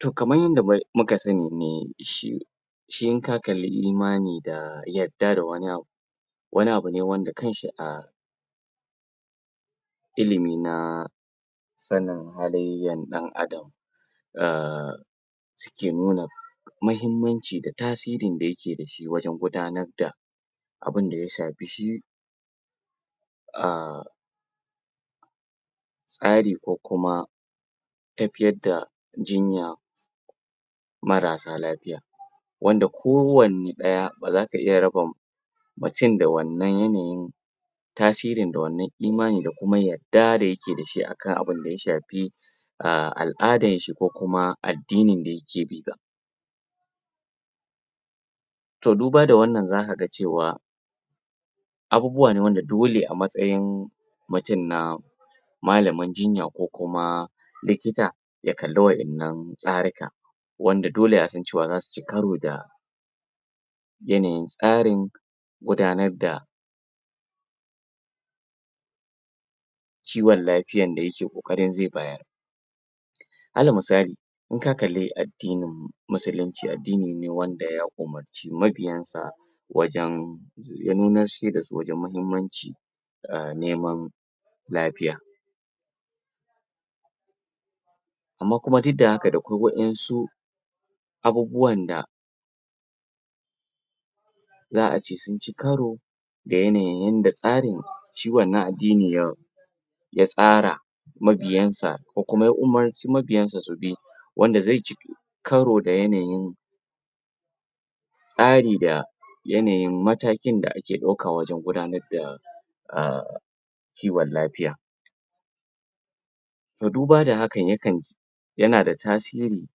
to kaman yadda muka sani ne shi in ka kalli imani da yadda da wani abu wani abu ne wanda kanshi a ilimi na sanin halayyan ɗan adam a suke nuna mahimmanci da tasirin da yake dashi wajan gudanar da abinda ya shafi shi a tsari ko kuma tafiyar da jinya marasa lafiya wanda ko wanne ɗaya baza ka iy rabaa mutum da wannan yanayin tasiri da wannan imanin da kuma da yake yadda da sh akan abind ya shafii al'adarshi ko kuma addinin da yake bi ba to duba da wannan zaka ga cewa abubuwa ne wanda dole a matsayin mutun na malamin jinya ko kuma likita ya kalli wa innan tsarikan wanda yasa dole zasuci karu da tsarin gudanar da kiwan lafiyan da yake ƙoƙarin zai bayar alan musali inka kalli addininmu musulin ce adddini ne wanda ya umarci ma biyansa wajan zai iya nunanshe da su wajan mahimmancin neman lafiya amma kuma duk da haka da ƙwai wa yansu abubuwan da za ce sunci karo da yanayin yadda tsarin shi wanna addini ya ya tsara mabiyansa ko kuma ya umarci ma biyansa subi wanda zai ci karu da yanayin tsari da yanayin matakin da ake ɗauka wajan gudanar da kiwan lafiya to duba da hakan yana da tasiri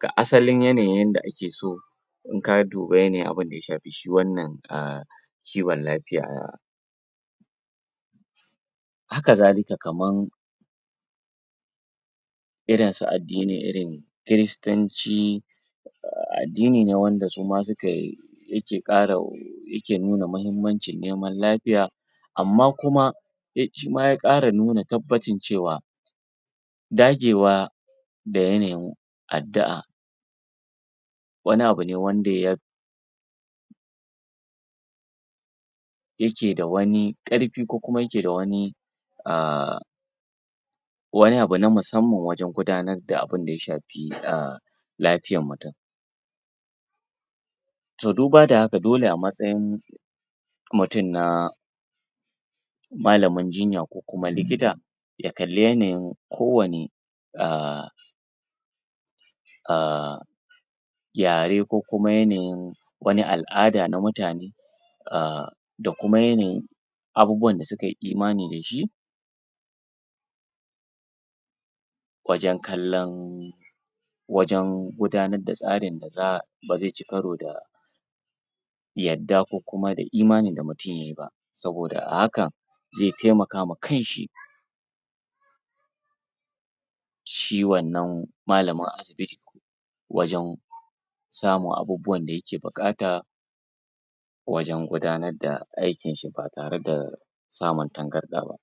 ga asalin yanayin yanda akeso inka duba yanayin abunda ya safi shi wannan a kiwan lafiya haka zalika kaman irinsu addinin irin kiristanci addini ne wanda suma suke yake ƙara yake nuna mahimmancin neman lafiya amma kuma shima ya ƙara nuna tabbacin cewa dagewa da yanayin addi'a wani abune abune wanda ya yake da wani ƙarfi ko kuma yake da wani a wani abu na musamman wajan gudanar da abinda ya shafi a lafiyan mutun to duba da haka dole a matsayin mutun na malamin jinya ko kuma likita ya kalli yanayin ko wanne a gyare ko kuma yanayin wani al'ada na mutane a da kuma yanayin abubuwan da sukayi imani dashi wajan kallan wajan gudanar da tsarin da bazaici karo da yadda ko kuma da imanin da mutun yayi ba saboda a hakan zai taimaka ma kanshi shi wannan malamin asibiti wajan samun abubuwan da yake buƙata wajan gudanar da aikinshi ba tare da samun tangarɗa ba